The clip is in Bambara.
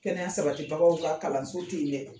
Kɛnɛya sabatibagaw ka kalanso so tɛ yen dɛ!